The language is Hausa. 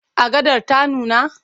Agadar ta nuna?